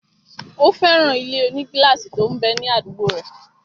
Ó fẹ́ràn ilé-onígílásì tó m bẹ ní àdúgbò rẹ̀